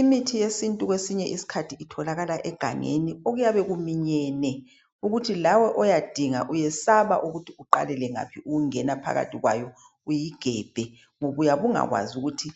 Imithi yesintu kwesinye isikhathi itholakala egangeni okuyabe kuminyene ukuthi lawe oyadinga uyesaba ukuthi uqalele ngaphi ukungena phakathi kwayo uyigebhe ngoba uyabe ungakwazi ukuthi